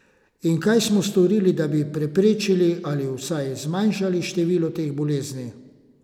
In kaj smo storili, da bi preprečili ali vsaj zmanjšali število teh bolezni?